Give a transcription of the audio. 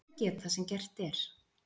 Þess ber að geta sem gert er